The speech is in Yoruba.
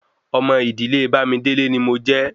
Ọmọ idile Bamidele ni mojé